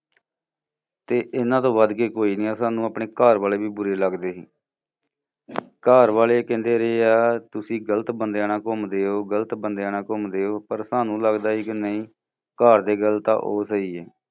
ਤੇ ਇਨ੍ਹਾਂ ਤੋਂ ਵੱਧ ਕੇ ਕੋਈ ਨਹੀਂ ਆ ਸਾਨੂੰ ਆਪਣੇ ਘਰ ਵਾਲੇ ਵੀ ਬੂਰੇ ਲੱਗਦੇ ਹੀ । ਘਰ ਵਾਲੇ ਕਹਿੰਦੇ ਰਹੇ ਆ ਤੁਸੀਂ ਗਲਤ ਬੰਦਿਆ ਨਾਲ ਘੁੰਮਦੇ ਹੋ, ਗਲਤ ਬੰਦਿਆ ਨਾਲ ਘੁੰਮਦੇ ਹੋ, ਪਰ ਸਾਨੂੰ ਲਗਦਾ ਸੀ ਕਿ ਨਹੀਂ, ਘਰ ਦੇ ਗਲਤ ਆ ਉਹ ਸਹੀ ਐ।